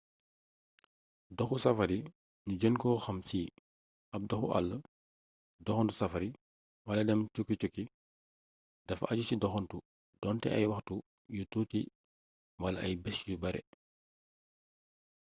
doxu safari ñu gën ko xam ci ab doxu àll” doxantu safari wala dem”cukki cukki” dafa aju ci doxantu doonte ay waxtu yu tuuti wala ay bés yu bare